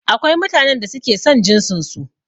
Akwai mutanen da ke son jinsin su